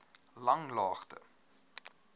langlaagte